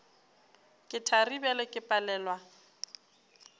ke thari bjale ke palelwa